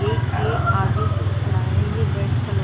एक ये आगे जो खड़ा हुआ हे ये रेड कलर --